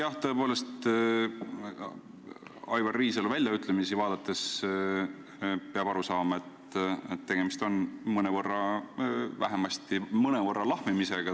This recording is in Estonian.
Jah, tõepoolest, Aivar Riisalu väljaütlemisi jälgides saab aru, et tegemist on vähemasti mõnevõrra lahmimisega.